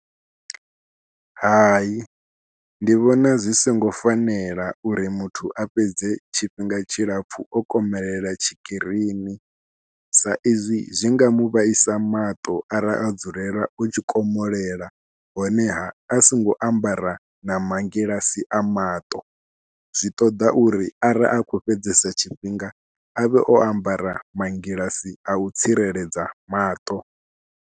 Hai ndi vhona zwi songo fanela uri muthu a fhedze tshifhinga tshilapfhu o komelela tshikirini saizwi zwi nga mu vhaisa maṱo arali a dzulela u tshi komolela honeha a songo ambara na mangilasi a maṱo. Zwi ṱoḓa uri ara a khou fhedzesa tshifhinga a vhe o ambara mangilasi a u tsireledza maṱo.